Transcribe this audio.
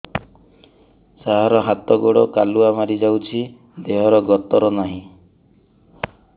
ସାର ହାତ ଗୋଡ଼ କାଲୁଆ ମାରି ଯାଉଛି ଦେହର ଗତର ନାହିଁ